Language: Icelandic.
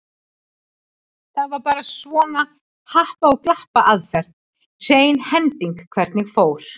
Það var bara svona happa- og glappaaðferð, hrein hending hvernig fór.